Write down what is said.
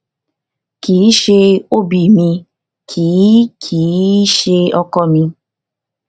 kì í ṣe ob mi kì í kì í ṣe ọkọ mi